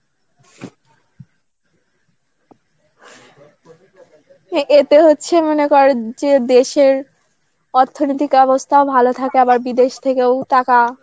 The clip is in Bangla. এতে হচ্ছে মনে কর যে দেশের অর্থনৈতিক অবস্থাও ভালো থাকে. আবার বিদেশ থেকেও টাকা